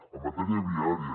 en matèria viària